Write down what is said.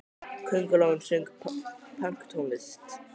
Köngulóin söng pönktónlist!